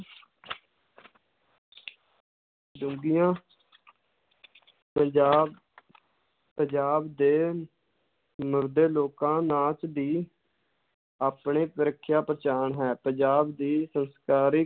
ਡੂੰਘੀਆਂ ਪੰਜਾਬ ਪੰਜਾਬ ਦੇ ਮਰਦ ਲੋਕਾਂ ਨਾਚ ਦੀ ਆਪਣੇ ਪਹਿਚਾਣ ਹੈ, ਪੰਜਾਬ ਦੀ ਸੰਸਕਾਰੀ